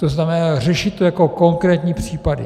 To znamená, řešit to jako konkrétní případy.